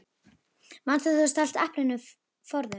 Manstu þegar þú stalst eplinu forðum?